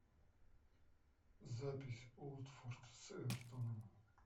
запись уотфорд с эвертоном